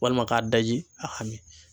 Walima k'a daji a ka min.